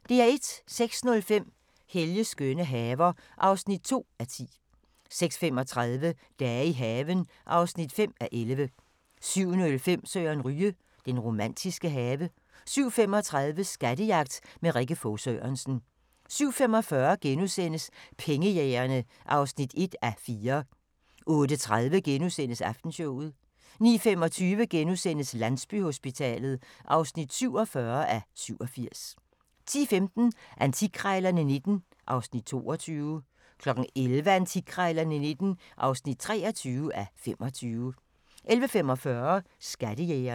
06:05: Helges skønne haver (2:10) 06:35: Dage i haven (5:11) 07:05: Søren Ryge: Den romantiske have 07:35: Skattejagt med Rikke Fog Sørensen 07:45: Pengejægerne (1:4)* 08:30: Aftenshowet * 09:25: Landsbyhospitalet (47:87)* 10:15: Antikkrejlerne XIX (22:25) 11:00: Antikkrejlerne XIX (23:25) 11:45: Skattejægerne